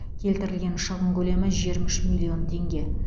келтірілген шығын көлемі жиырма үш миллион теңге